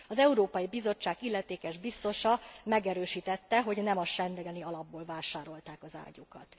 Az Európai Bizottság illetékes biztosa megerősítette, hogy nem a schengeni alapból vásárolták az ágyúkat.